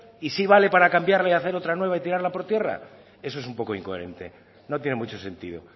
y sí vale para cambiar y hacer otra nueva y tirarla por tierra eso es un poco incoherente no tiene mucho sentido